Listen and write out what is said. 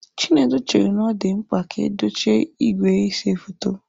Chinedu chere na ọ dị mkpa ka edochie igwe na-ese foto.